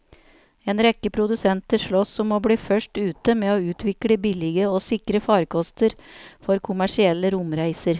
En rekke produsenter sloss om å bli først ute med å utvikle billige og sikre farkoster for kommersielle romreiser.